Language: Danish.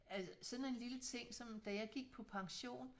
At sådan en lille ting som da jeg gik på pension